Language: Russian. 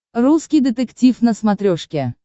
русский детектив на смотрешке